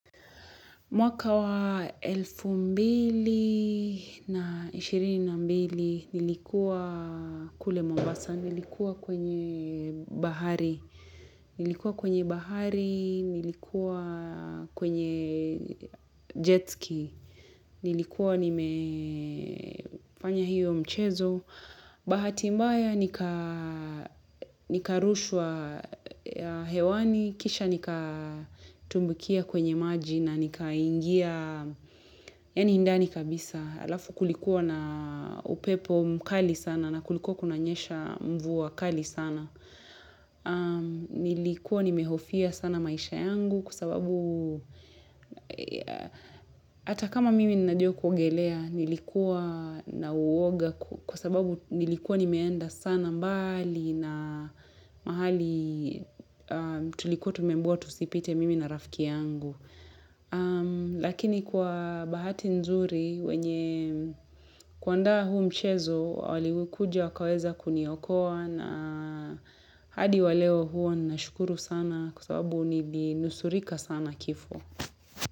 Mwaka wa elfu mbili na ishirini na mbili nilikuwa kule mombasa, nilikuwa kwenye bahari, nilikuwa kwenye bahari nilikuwa kwenye jetski, nilikuwa nimefanya hio mchezo. Bahati mbaya nikarushwa hewani, kisha nikatumbukia kwenye maji na nikaingia, yaani ndani kabisa, alafu kulikuwa na upepo mkali sana na kulikuwa kunanyesha mvua kali sana. Nilikuwa nimehofia sana maisha yangu kwa sababu hata kama mimi ninajua kuogelea nilikuwa na uwoga kwa sababu nilikuwa nimeenda sana mbali na mahali tulikuwa tumeambiwa tusipite mimi na rafiki yangu lakini kwa bahati nzuri wenye kuandaa huu mchezo waliokuja wakaweza kuniokoa na hadi wa leo huwa nashukuru sana kwa sababu nilinusurika sana kifo.